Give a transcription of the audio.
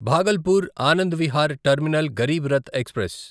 Bhagalpur Anand Vihar terminal Garib Rath express